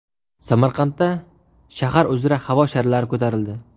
Samarqandda shahar uzra havo sharlari ko‘tarildi .